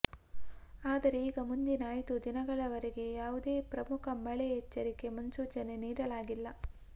ಆದರೆ ಈಗ ಮುಂದಿನ ಐದು ದಿನಗಳವರೆಗೆ ಯಾವುದೇ ಪ್ರಮುಖ ಮಳೆ ಎಚ್ಚರಿಕೆ ಮುನ್ಸೂಚನೆ ನೀಡಲಾಗಿಲ್ಲ